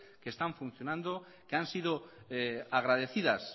que están funcionando que han sido agradecidos